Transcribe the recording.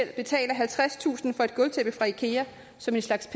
betale halvtredstusind kroner for et gulvtæppe fra ikea som en slags